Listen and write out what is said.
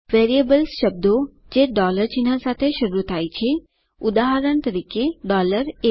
variables શબ્દો છે ચિહ્ન સાથે શરૂ થાય છે ઉદાહરણ તરીકે a